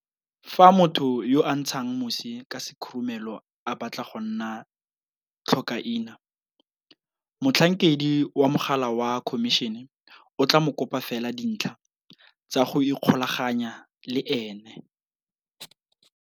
Fa motho yo a ntshang mosi ka sekhurumelo a batla go nna tlhokaina, motlhankedi wa mogala wa Khomišene o tla mo kopa fela dintlha tsa go ikgolaganya le ene.